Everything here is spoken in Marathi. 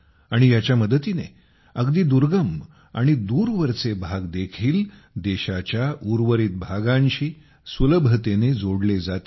आणि याच्या मदतीने अगदी दुर्गम आणि दूरवरचे भाग देखील देशाच्या उर्वरित भागांशी सुलभतेने जोडले जातील